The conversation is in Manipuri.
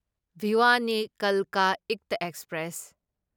ꯚꯤꯋꯥꯅꯤ ꯀꯜꯀ ꯏꯛꯇ ꯑꯦꯛꯁꯄ꯭ꯔꯦꯁ